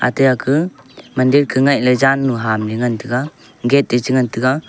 aate aka mandir ka ngailey jannu hamley ngan tiga gate eh che ngan tiga.